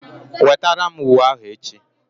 Wetara m uwe ahụ echi!